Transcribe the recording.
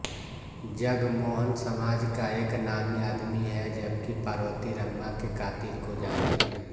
जगमोहन समाज का एक नामी आदमी है जबकि पार्वती रमा के कातिल को जानती है